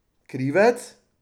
Krivec?